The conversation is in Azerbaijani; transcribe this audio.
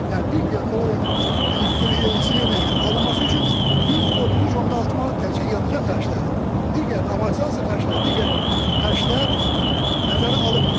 Yəni bir giqakalori istilik enerji alınması üçün biz 33.6 manat təkcə yanacaq xərcləri, digər amortizasiya xərcləri, digər xərclər nəzərə alınmadan.